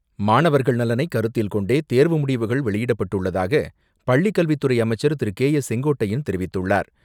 மாணவர்களின் நலனை கருத்தில் கொண்டே தேர்வு முடிவுகள் வெளியிடப்பட்டுள்ளதாக பள்ளிக் கல்வித்துறை அமைச்சர் திரு கே ஏ செங்கோட்டையன் தெரிவித்துள்ளார்.